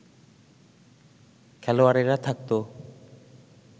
খেলোয়াড়েরা থাকতো